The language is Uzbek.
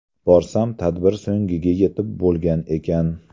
Borsam tadbir so‘ngiga yetib bo‘lgan ekan.